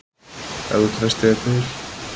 Ef þú treystir þér til.